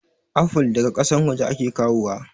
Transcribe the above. Afol daga kasan waje ake kawo wa